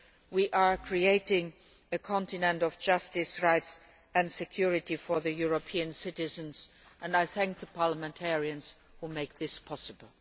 we are creating a continent of justice, rights and security for European citizens, and I thank the parliamentarians who make this possible.